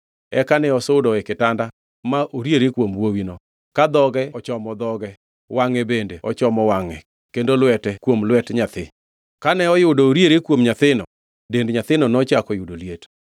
Eka ne osudo e kitanda ma oriere kuom wuowino, ka dhoge ochomo dhoge, wangʼe bende ochomo wangʼe kendo lwete kuom lwet nyathi. Kane oyudo oriere kuom nyathino, dend nyathino nochako yudo liet.